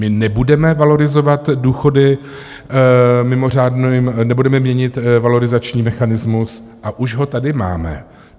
My nebudeme valorizovat důchody mimořádným... nebudeme měnit valorizační mechanismus, a už ho tady máme.